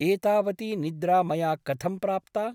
एतावती निद्रा मया कथं प्राप्ता ?